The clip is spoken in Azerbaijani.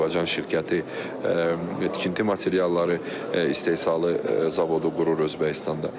Bir Azərbaycan şirkəti tikinti materialları istehsalı zavodu qurur Özbəkistanda.